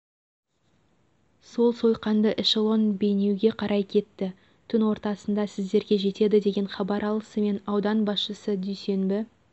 сол сойқанды эшелон бейнеуге қарай кетті түн ортасында сіздерге жетеді деген хабар алысымен аудан басшысы дүйсенбі